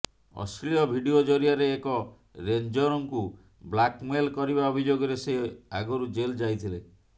ଅଶ୍ଳୀଳ ଭିଡିଓ ଜରିଆରେ ଏକ ରେଞ୍ଜରଙ୍କୁ ବ୍ଲାକମେଲ୍ କରିବା ଅଭିଯୋଗରେ ସେ ଆଗରୁ ଜେଲ୍ ଯାଇଥିଲେ